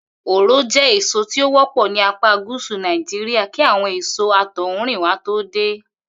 Òro jé èso tí ó wó̩pò̩ ní apá gúsù Nàìjíríà kí àwo̩n èso àtò̩húnrìnwá tó dé